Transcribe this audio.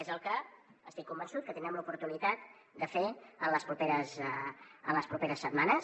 és el que estic convençut que tindrem l’oportunitat de fer en les properes setmanes